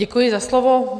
Děkuji za slovo.